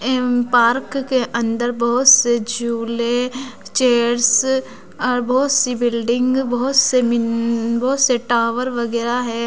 M park के अंदर बहोत से झूले चेयर्स और बहोत सी बिल्डिंग बहोत से मिन्न बहोत से टावर वगैरा है।